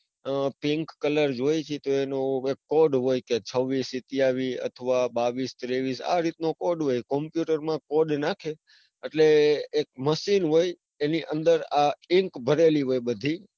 ઉહ pink colour જોઈએ છે તો એનો એક code હોય છવ્વીસ સત્યાવીસ અથવા બાવીસ તેવીસ આ રીત નો code હોય computer માં code નાખે એટલે એક machine હોય એની અંદર ink ભરેલી હોય બધી,